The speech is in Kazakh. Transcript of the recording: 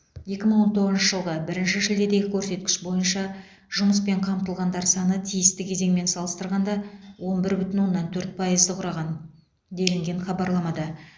екі мың он тоғызыншы жылғы бірінші шілдедегі көрсеткіш бойынша жұмыспен қамтылғандар саны тиісті кезеңмен салыстырғанда он бір бүтін оннан төрт пайызды құраған делінген хабарламада